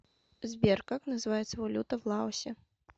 сбер как называется валюта в лаосе